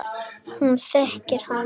Hún þekkir hann.